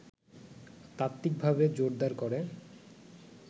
তাত্ত্বিকভাবে জোরদার করে